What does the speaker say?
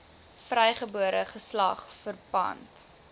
vrygebore geslag verpand